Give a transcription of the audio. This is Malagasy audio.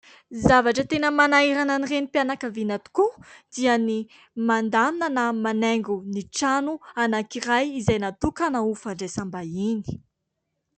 Ny zavatra tena manahirana ny renim-pianakaviana tokoa dia ny mandamina, na manaingo ny trano anankiray, izay natokana ho fandraisam-bahiny.